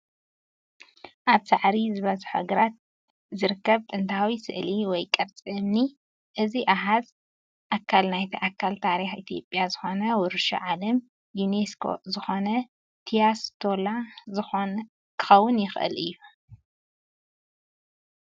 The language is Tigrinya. ኣብ ሳዕሪ ዝበዝሖ ግራት ዝርከብ ጥንታዊ ስእሊ/ቅርፂ እምኒ። እዚ ኣሃዝ ኣካል ናይቲ ኣካል ታሪኽ ኢትዮጵያ ዝኾነ ውርሻ ዓለም ዩኔስኮ ዝኾነ ቲያ ስቴላ ክኸውን ይኽእል እዩ።